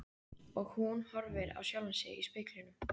Og hún horfir á sjálfa sig í speglinum.